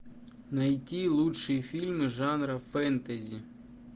найти лучшие фильмы жанра фэнтези